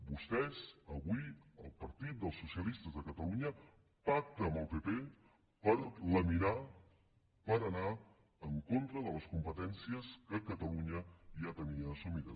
vostès avui el partit dels socialistes de catalunya pacta amb el pp per laminar per anar en contra de les competències que catalunya ja tenia assumides